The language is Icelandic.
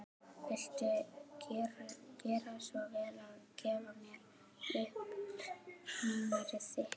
Viltu gjöra svo vel að gefa mér upp númerið þitt?